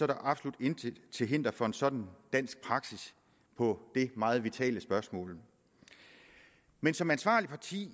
der absolut intet til hinder for en sådan dansk praksis på det meget vitale spørgsmål men som ansvarligt parti